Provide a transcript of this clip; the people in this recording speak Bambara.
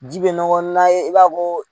Ji bɛ nɔgɔn na ye i b'a fɔ ko.